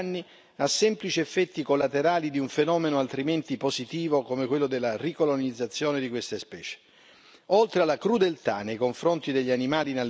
Non possiamo più permetterci di derubricare tali danni a semplici effetti collaterali di un fenomeno altrimenti positivo, come quello della ricolonizzazione di queste specie.